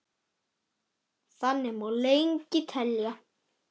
Þannig má lengi telja.